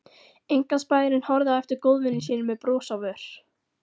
Einkaspæjarinn horfði á eftir góðvini sínum með bros á vör.